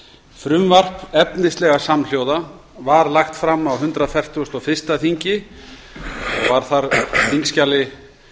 frumvarp efnislega samhljóða var lagt fram á hundrað fertugasta og fyrsta þingi og var þar á þingskjali